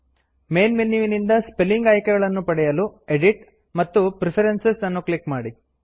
main menu ನಿಂದ spelling ಆಯ್ಕೆಗಳನ್ನು ಪಡೆಯಲು ಎಡಿಟ್ ಮತ್ತು ಪ್ರೆಫರೆನ್ಸಸ್ ಅನ್ನು ಕ್ಲಿಕ್ ಮಾಡಿ